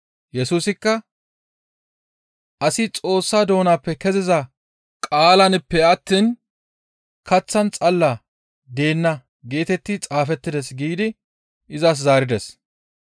Yesusikka, « ‹Asi Xoossa doonappe keziza qaalanppe attiin kaththan xalla deenna› geetetti xaafettides» giidi izas zaarides.